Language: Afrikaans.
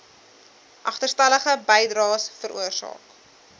agterstallige bydraes veroorsaak